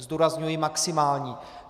Zdůrazňuji maximální.